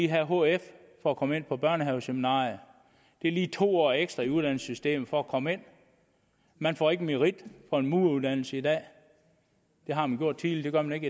have hf for at komme ind på børnehaveseminariet det er lige to år ekstra i uddannelsessystemet for at komme ind man får ikke merit for en mureruddannelse i dag det har man gjort tidligere men